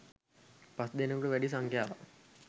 පස්දෙනකුට වැඩි සංඛ්‍යාවක්